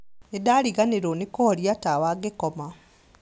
Nĩndariganĩrwo nĩ kũhoria tawa ngĩkoma